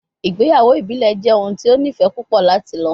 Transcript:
Igbeyawo ibile jẹ ohun ti o nifẹ pupọ lati lọ